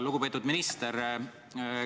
Lugupeetud minister.